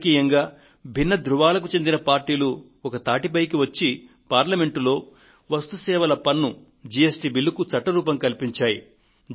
రాజకీయంగా భిన్న ధృవాలకు చెందిన పార్టీలు ఒక తాటిపైకి వచ్చి పార్లమెంట్లో వస్తువులు సేవల పన్ను జి ఎస్ టి బిల్లుకు చట్ట రూపం కల్పించాయి